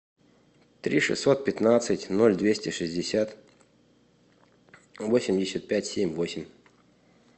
три шестьсот пятнадцать ноль двести шестьдесят восемьдесят пять семь восемь